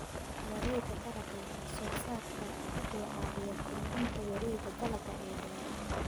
Wareegga Dalagga Wax-soo-saarka wuxuu caawiyaa kordhinta wareegga dalagga ee beeraha.